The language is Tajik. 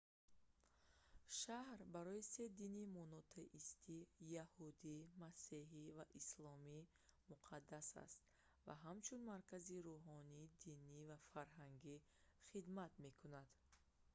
шаҳр барои се дини монотеистӣ яҳудӣ масеҳӣ ва исломӣ муқаддас аст ва ҳамчун маркази рӯҳонӣ динӣ ва фарҳангӣ хидмат мекунад